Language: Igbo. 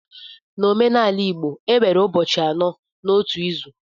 N'omenala igbo enwere ụbọchị anọ n'otu izu